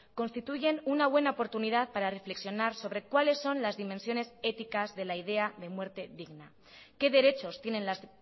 constituyen una buena oportunidad para reflexionar sobre cuáles son las dimensiones éticas de la idea de muerte digna qué derechos tienen las